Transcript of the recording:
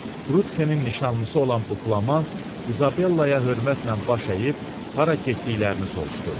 Trutxenin nişanlısı olan bu Flamant İzabellaya hörmətlə baş əyib hara getdiklərini soruşdu.